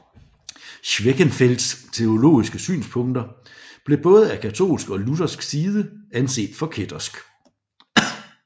Schwenckfelds teologiske synspunkter blev både af katolsk og luthersk side anset for kættersk